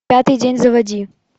пятый день заводи